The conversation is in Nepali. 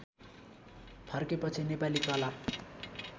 फर्केपछि नेपाली कला